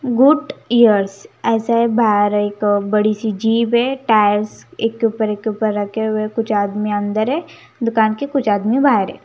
Good years ऐसा है बाहर एक बड़ी सी जीब है टायर्स एक के ऊपर एक के ऊपर रखे हुए हैं कुछ आदमी अंदर है दुकान के कुछ आदमी बाहर है.